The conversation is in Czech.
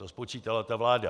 To spočítala ta vláda.